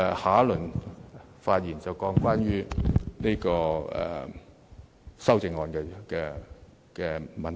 下次發言時，我會談談修正案的問題。